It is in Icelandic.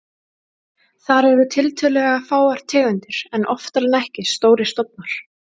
Þar eru tiltölulega fáar tegundir en oftar en ekki stórir stofnar.